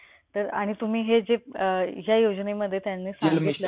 आणि तुम्ही हे जे अं ज्या योजनेमध्ये त्यांनी सांगितलं कि